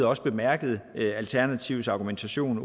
også bemærket alternativets argumentation